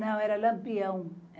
Não, era Lampião.